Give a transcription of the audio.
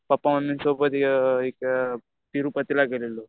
पप्पा मम्मीसोबत तिरुपतीला गेलेलो.